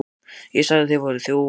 ÉG SAGÐI AÐ ÞIÐ VÆRUÐ ÞJÓFAR.